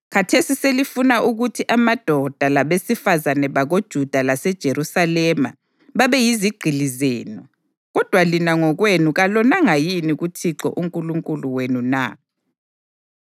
Khathesi selifuna ukuthi amadoda labesifazane bakoJuda laseJerusalema babe yizigqili zenu. Kodwa lina ngokwenu kalonanga yini kuThixo uNkulunkulu wenu na?